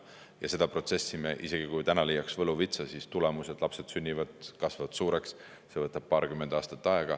See protsess, isegi kui me täna leiaks võluvitsa, siis tulemused, lapsed sünnivad, kasvavad suureks, see võtab paarkümmend aastat aega.